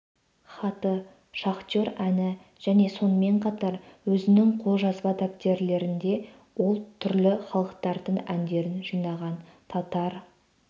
хаты шахтер әні және сонымен қатар өзінің қолжазба дәптерлерінде ол түрлі халықтардың әндерін жинаған татар